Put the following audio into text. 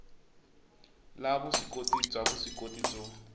la vuswikoti bya vuswikoti byo